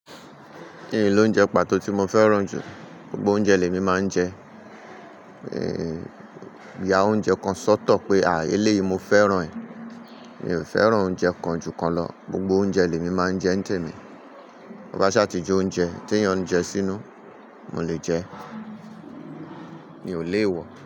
N loúnjẹ pàtó tí mo fẹ́ràn jù? Gbogbo oúnjẹ lè mi máa ń jẹ. N ya oúnjẹ kan sọ́tọ̀ pé èléyi mo fẹ́ràn ẹ̀. Mi ò fẹ́ràn oúnjẹ kan jùkan lọ. Gbogbo oúnjẹ lè mi máa ń jẹ ń temí. To ba ṣàtì je oúnjẹ, tí èèyàn ń jẹ sínú, mo lè jẹ, mi ò léè wọ̀.